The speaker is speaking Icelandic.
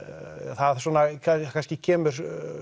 það kannski kemur